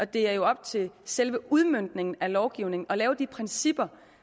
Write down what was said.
det er jo op til selve udmøntningen af lovgivningen at lægge de principper